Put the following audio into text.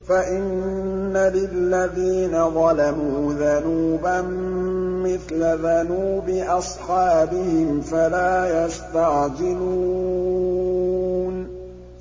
فَإِنَّ لِلَّذِينَ ظَلَمُوا ذَنُوبًا مِّثْلَ ذَنُوبِ أَصْحَابِهِمْ فَلَا يَسْتَعْجِلُونِ